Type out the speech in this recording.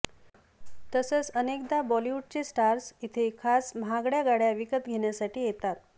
तसंच अनकेदा बॉलिवूडचे स्टार्स इथं खास महागड्या गाड्या विकत घेण्यासाठी येतात